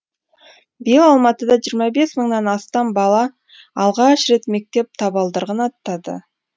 биыл алматыда жиырма бес мыңнан астам бала алғаш рет мектеп табалдырығын аттады